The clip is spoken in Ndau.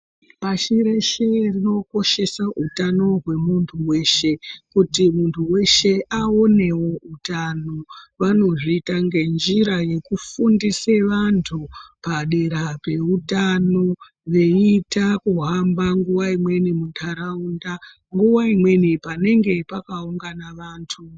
Pashi reshe rinokoshese utano wemuntu weshe kuti muntu weshe aonewo utano, vanozviita ngenjira yekufundise vantu padera peutano veita kuhamba nguwa imweni munharaunda, nguwa imweni panenge pakaungana vantu.